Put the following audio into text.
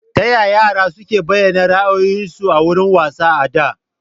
Taya yara suke bayyana ra'ayoyinsu a wuraren wasa a da?